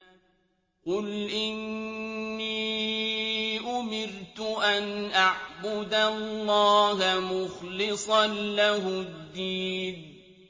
قُلْ إِنِّي أُمِرْتُ أَنْ أَعْبُدَ اللَّهَ مُخْلِصًا لَّهُ الدِّينَ